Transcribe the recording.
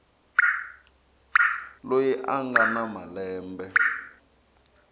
loyi a nga na malembe